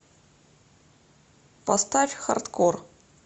поставь хардкор